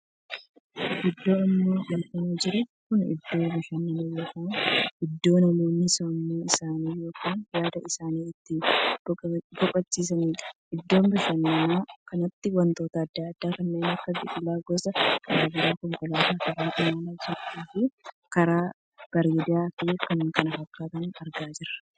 Iddoo amma argamaa jiru kun iddoo bashannanaa ykn iddoo namoonni sammuu isaanii yookaanii yaada isaanii itti boqochiisaniidha. iddoo bashannanaa kanatti wantoota addaa addaa kanneen akka biqilaa gosa garaagaraa, konkolaataa karaa imalaan jirtu fi karaa bareedaa fi kan kana fakkaatan argaa jirra.